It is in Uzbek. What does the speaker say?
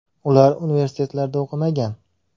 Ular universitetlarda o‘qimagan.